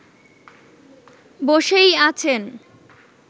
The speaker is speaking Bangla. বসেই আছেন